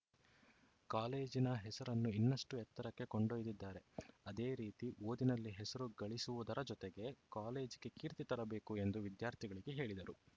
ಕಾಲೇಜಿನ ಹೆಸರನ್ನು ಇನ್ನಷ್ಟುಎತ್ತರಕ್ಕೆ ಕೊಂಡೊಯ್ದಿದ್ದಾರೆ ಅದೇ ರೀತಿ ಓದಿನಲ್ಲಿ ಹೆಸರು ಗಳಿಸುವುದರ ಜೊತೆಗೆ ಕಾಲೇಜಿಗೆ ಕೀರ್ತಿ ತರಬೇಕು ಎಂದು ವಿದ್ಯಾರ್ಥಿಗಳಿಗೆ ಹೇಳಿದರು